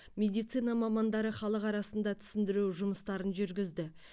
медицина мамандары халық арасында түсіндіру жұмыстарын жүргізді